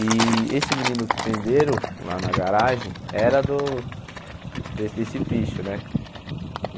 E esse menino que prenderam, lá na garagem, era do desse desse picho, né?